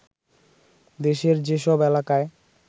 দেশের যেসব এলকায়